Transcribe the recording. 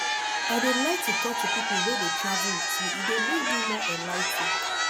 i dey like to talk to people wey dey travel with me e dey make me more enligh ten ed